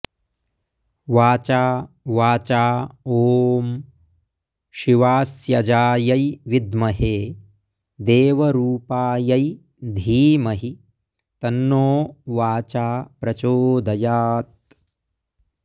वाचा वाचा ॐ शिवास्यजायै विद्महे देवरूपायै धीमहि तन्नो वाचा प्रचोदयात्